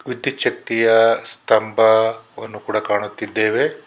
ವಿದ್ಯುತ್ ಶಕ್ತಿಯ ಸ್ತಂಭವನ್ನು ಕೂಡ ಕಾಣುತ್ತಿದ್ದೇವೆ.